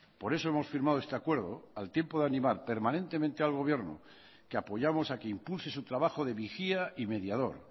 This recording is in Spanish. por eso hemos firmado este acuerdo al tiempo de animar permanentemente al gobierno que apoyamos a que impulse su trabajo de vigía y mediador